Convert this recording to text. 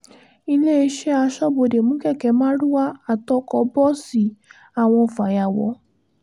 iléeṣẹ́ aṣọ́bodè mú kẹ̀kẹ́ márúwá àtọkọ bọ́ọ̀sì àwọn fàyàwọ́